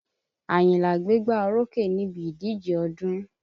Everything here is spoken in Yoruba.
Àyìnlá gbégbá orókè níbi ìdíjẹ ọdún